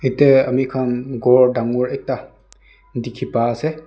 yate ami khan ghor dangor ekta dikhi pai ase.